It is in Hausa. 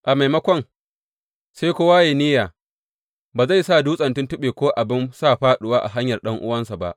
A maimakon, sai kowa yă yi niyya ba zai sa dutsen tuntuɓe ko abin sa fāɗuwa a hanyar ɗan’uwansa ba.